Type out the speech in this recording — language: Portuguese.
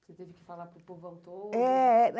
Você teve que falar para o povo autônomo.